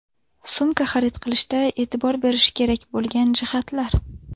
Sumka xarid qilishda e’tibor berish kerak bo‘lgan jihatlar.